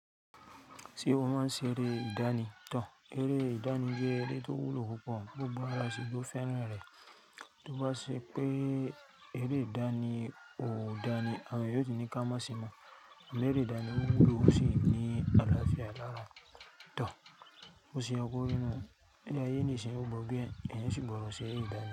Ti o ma ṣe ere ìdánì tán. Ere ìdánì jẹ́ eré tó wúlò púpọ̀, gbogbo wa la sì jo feran re to bá ṣe pé eré ìdánì ò dání, àwọn èyàn yóò tú ní ká mọ́ sí i mọ̀. Àmọ́ eré ìdánì wúlò ó sì ní àlàáfíà làrà. Tán, o ṣe àkọ́rín náà. Ṣé ayé ní ìṣe, o mọ bí ẹni yẹn sì gbọdọ̀ ṣe eré ìdánì.